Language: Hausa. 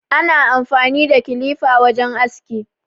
Ana amfani da kilifa wajen aski.